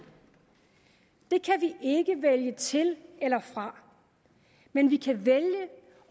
ikke vælge til eller fra men vi kan vælge